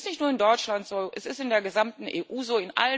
Es ist nicht nur in Deutschland so, es ist in der gesamten EU so.